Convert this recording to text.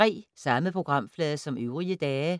Samme programflade som øvrige dage